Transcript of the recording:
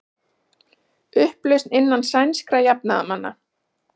Upplausn innan sænskra jafnaðarmanna